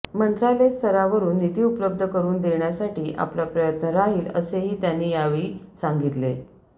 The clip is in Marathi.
मंत्रालयस्तरावरुन निधी उपलब्ध करुन देण्यासाठी आपला प्रयत्न राहील असेही त्यांनी यावेळी सांगितले